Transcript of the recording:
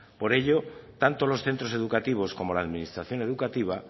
por ello tantos los centros educativos como la administración educativa